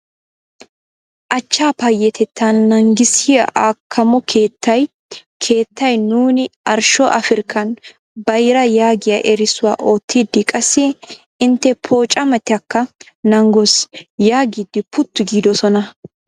Achcha payatetatta naagissiya akkamo keettay keettay -nuuni arshsho Afrikan bayra' yaagiyaa erissuwaa oottidi qassi intte pooccametakka naagoos yaagidi puttu giidoosona.